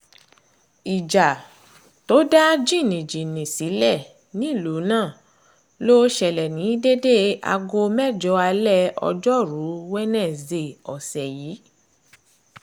ìjà tó dá jìnnìjìnnì sílẹ̀ nílùú náà ló ṣẹlẹ̀ ní déédé aago mẹ́jọ alẹ́ ọjọ́rùú wíṣọdẹ̀ẹ́ ọ̀sẹ̀ yìí